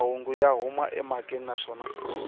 mahungu ya huma emhakeni naswona